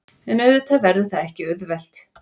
En auðvitað verður það ekki auðvelt